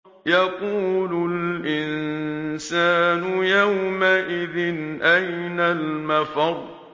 يَقُولُ الْإِنسَانُ يَوْمَئِذٍ أَيْنَ الْمَفَرُّ